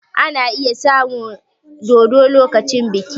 Ana iya samun dodo lokacin biki